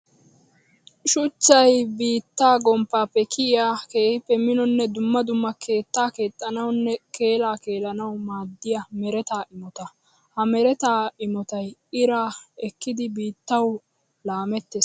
Shuchchay biitta gomppappe kiyiya keehippe minonne dumma dumma keetta keexxanawunne keella keellanawu maadiya meretta imotta. Ha meretta imottay iraa ekkiddi biittawu laametees.